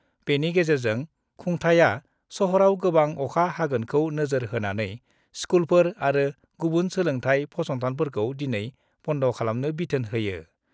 बेनि गेजेरजों खुंथाया सहराव गोबां अखा हागोनखौ नोजोर होनानै स्कुलफोर आरो गुबुन सोलोंथाइ फसंथानफोरखौ दिनै बन्द' खालामनो बिथोन होयो।